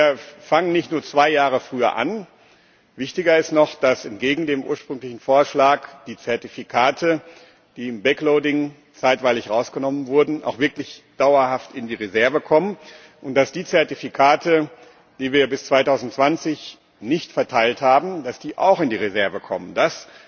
Wir fangen nicht nur zwei Jahre früher an, wichtiger ist noch, dass entgegen dem ursprünglichen Vorschlag die Zertifikate, die im backloading zeitweilig herausgenommen wurden, auch wirklich dauerhaft in die Reserve kommen und dass die Zertifikate, die wir bis 2020 nicht verteilt haben, auch in die Reserve kommen. Das